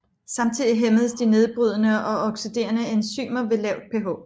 Samtidig hæmmes de nedbrydende og oxiderende enzymer ved lavt pH